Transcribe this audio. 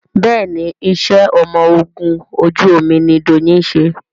Béèni iṣé ọmọ ògún ojú omí ní Doyin ṣe.